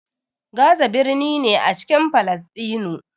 Gaza birni ne a cikin Falasɗinu.